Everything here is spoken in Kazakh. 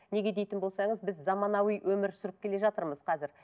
неге дейтін болсаңыз біз заманауи өмір сүріп келе жатырмыз қазір